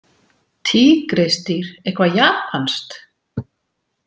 Tígrísdýr, eitthvað japanskt?